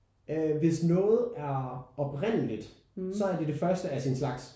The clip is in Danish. Øh hvis noget er oprindeligt så er det det første af sin slags